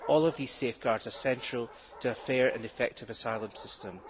all of these safeguards are essential to a fair and effective asylum system.